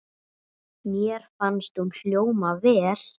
Mér fannst hún hljóma vel.